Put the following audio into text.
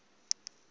kwelenge